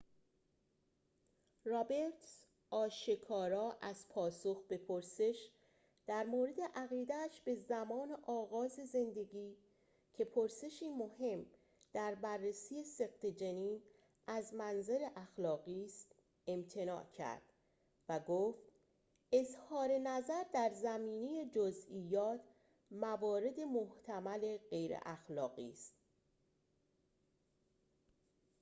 رابرتز آشکارا از پاسخ به پرسش درمورد عقیده‌اش به زمان آغاز زندگی که پرسشی مهم در بررسی سقط جنین از منظر اخلاقی است امتناع کرد و گفت اظهارنظر در زمینه جزئیات موارد محتمل غیراخلاقی است